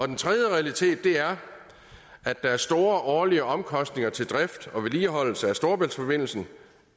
den tredje realitet er at der er store årlige omkostninger til drift og vedligeholdelse af storebæltsforbindelsen